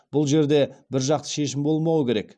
бұл жерде біржақты шешім болмауы керек